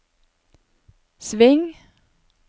sving